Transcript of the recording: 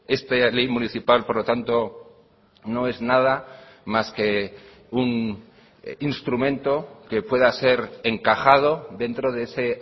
esta ley municipal por lo tanto no es nada más que un instrumento que pueda ser encajado dentro de ese